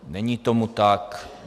Není tomu tak.